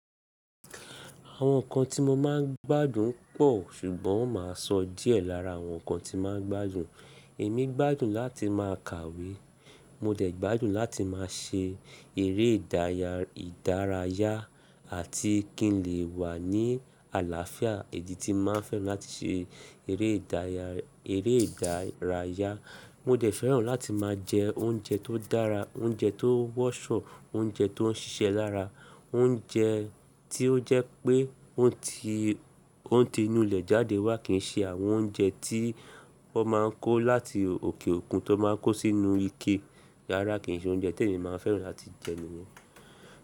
Àwọn nǹkan tí mo máa ń gbádùn pọ̀, ṣùgbọ́n má sọ díẹ̀ lára àwọn nǹkan tí máa ń gbádùn. Èmi gbádùn láti máa kàwé, mo dẹ̀ gbádùn láti máa ṣe eré ìdárayá àti kí n lè wà ní àlàáfíà. Ìdí tí máa ń fẹ́ràn láti ṣe eré ìdárayá. Mo dẹ̀ fẹ́ràn láti máa jẹ oúnjẹ tó dára, oúnjẹ tó wọ́ ṣọ, oúnjẹ tó ń ṣiṣẹ́ lára, oúnjẹ tí ó jẹ́ pé òǹtì inú ilẹ̀ jáde wá kì í ṣe àwọn oúnjẹ tí wọ́n máa ń kó láti òkè òkun tó máa ń kó sínú ike Rárá kì í ṣe oúnjẹ tí èmi máa ń fẹ́ràn láti jẹ nìyẹn.